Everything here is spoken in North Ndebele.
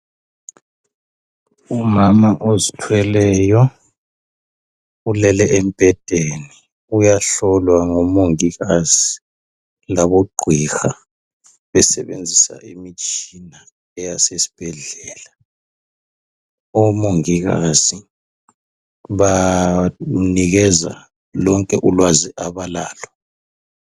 Umama ozithweleyo, ulele embhedeni uyahlolwa ngomongikazi labogqiha besebenzisa imitshina eyasesibhedlela. Omongikazi banikeza lonke ulwazi abalalo.